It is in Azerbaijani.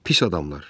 Pis adamlar.